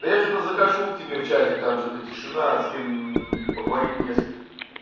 да я что-то захожу к тебе в чатик там что-то тишина с кем поговорить не с кем